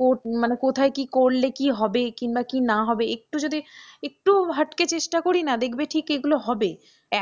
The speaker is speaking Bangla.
কর, মানে কোথায় কি করলে কি হবে কিংবা কি না হবে একটু যদি একটু হাটকে চেষ্টা করিনা দেখবে ঠিক এগুলো হবে,